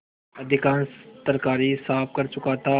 अधिकांश तरकारी साफ कर चुका था